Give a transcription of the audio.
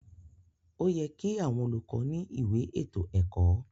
Óyẹ ki àwọn olùkọ ni ìwé ètò ẹkọ.